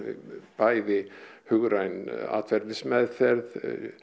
bæði hugræn atferlismeðferð